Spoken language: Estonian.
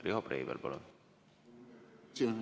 Riho Breivel, palun!